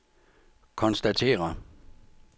konstaterer